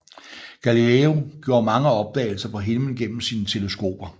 Galileo gjorde mange opdagelser på himlen gennem sine teleskoper